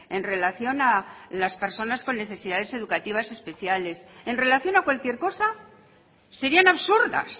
en relación con las personas con necesidades educativas especiales en relación a cualquier cosa serían absurdas